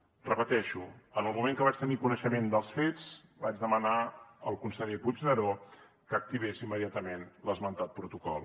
ho repeteixo en el moment que vaig tenir coneixement dels fets vaig demanar al conseller puigneró que activés immediatament l’esmentat protocol